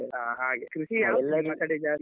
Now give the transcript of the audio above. ಆ ಹಾಗೆ. ಕೃಷಿ ಯಾವ್ದು .